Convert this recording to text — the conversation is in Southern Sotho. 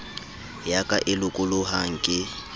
ya ka e lokolohang ke